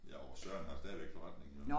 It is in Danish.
Jo Søren har stadigvæk forretning jo